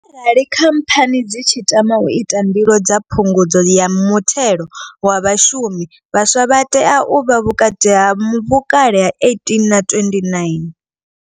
Arali khamphani dzi tshi tama u ita mbilo dza phungudzo ya muthelo wa vhashumi, vhaswa vha tea u vha vhukati ha vhukale ha 18 na 29.